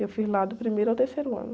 Eu fiz lá do primeiro ao terceiro ano.